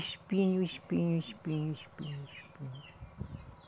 Espinho, espinho, espinho, espinho, espinho.